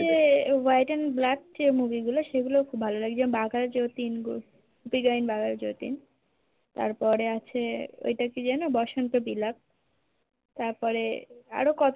white and black যে movie গুলো সেগুলো ভালো লাগছে বাঘাযতীন গুপিগায়েন বাঘাযতীন তারপরে আছে ওই টা কি যেন বসন্ত বিলাপ তারপরে আরো কতো